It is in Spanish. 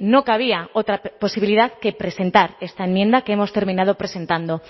no cabía otra posibilidad que presentar esta enmienda que hemos terminado presentando